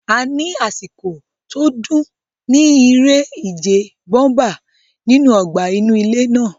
A ní àsìkò tó dùn ní iré ìje bóḿpà nínú ọgbà inú ilé náà